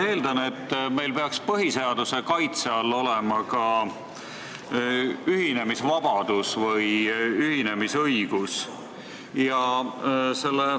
Ma eeldan, et meil peaks põhiseaduse kaitse all olema ka ühinemisvabadus või ühinemisõigus.